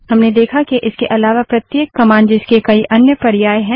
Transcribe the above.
हमने देखा के इसके अलावा प्रत्येक कमांड जिसके कई अन्य पर्यायऑप्शन है